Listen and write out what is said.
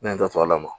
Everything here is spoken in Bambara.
Ne da to ala ma